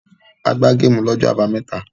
O gbá géémù lọ́jọ́ àbámẹ́ta.